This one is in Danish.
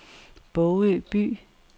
Bogø By